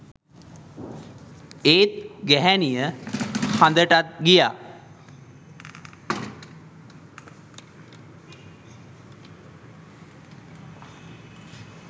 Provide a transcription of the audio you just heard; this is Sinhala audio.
ඒත් ගැහැනිය හදටත් ගියා